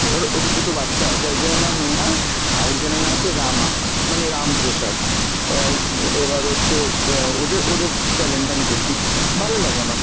ওর ওদের দুটো বাচ্চা আছে, একজনের নাম নেহা আরেকজনের নাম হচ্ছে রামা, মানে রামপ্রসাদ, আর এবার হচ্ছে অ্যাঁ ওদে~ ওদের channel টা আমি দেখি, ভালো লাগে আমার।